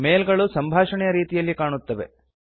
ಮೇಲ್ ಗಳು ಸಂಭಾಷಣೆಯ ರೀತಿಯಲ್ಲಿ ಕಾಣುತ್ತವೆ